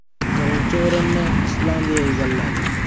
Birinchi o‘rinni Islandiya egalladi.